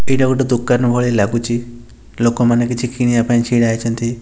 ଏଇଟା ଗୋଟେ ଦୋକାନ ଭଳି ଲାଗୁଚି ଲୋକେ ମାନେ କିଛି କିଣିବା ପାଇଁ ଛିଡ଼ା ହେଇଛନ୍ତି।